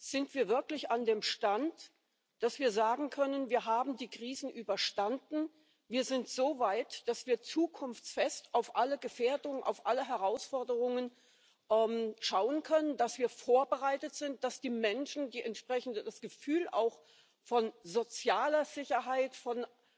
Sind wir wirklich an dem Stand, dass wir sagen können Wir haben die Krisen überstanden, wir sind so weit, dass wir zukunftsfest auf alle Gefährdungen, auf alle Herausforderungen schauen können, dass wir vorbereitet sind, dass die Menschen entsprechend das Gefühl auch von sozialer Sicherheit, von